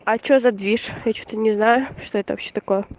а что за движ я что-то не знаю что это вообще такое